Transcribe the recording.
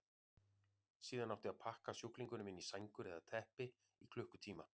Síðan átti að pakka sjúklingunum inn í sængur eða teppi í klukkutíma.